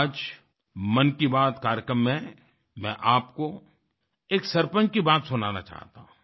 आज मन की बात कार्यक्रम में मैं आपको एक सरपंच की बात सुनाना चाहता हूँ